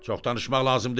Çox danışmaq lazım deyil.